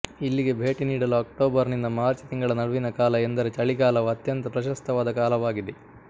ಇಲ್ಲಿಗೆ ಭೇಟಿ ನೀಡಲು ಅಕ್ಟೋಬರ್ ನಿಂದ ಮಾರ್ಚ್ ತಿಂಗಳ ನಡುವಿನ ಕಾಲ ಎಂದರೆ ಚಳಿಗಾಲವು ಅತ್ಯಂತ ಪ್ರಶಸ್ತವಾದ ಕಾಲವಾಗಿದೆ